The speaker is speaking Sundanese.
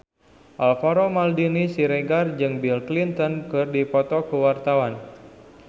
Alvaro Maldini Siregar jeung Bill Clinton keur dipoto ku wartawan